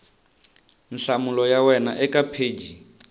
nhlamulo ya wena eka pheji